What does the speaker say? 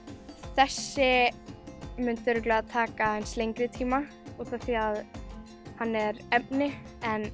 þessi myndi örugglega taka aðeins lengri tíma út af því að hann er efni en